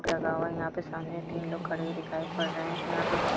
लगावा लगा हुआ यहां पे सामने तीन लोग खड़े दिखाई पड़ रहे है यहां पे